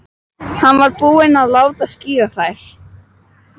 Hann var þá búinn að láta skíra þær.